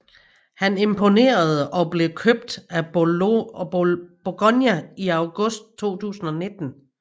Han imponerede og blev købt af Bologna i august 2019